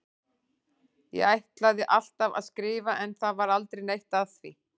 Ég ætlaði alltaf að skrifa en það varð aldrei neitt af því.